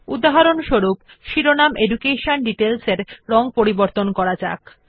উদাহরণস্বরূপ শিরোনাম education details রং করা যাক